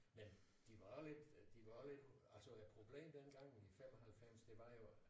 Men de var lidt øh de var lidt altså problemet dengang i 95 det var jo at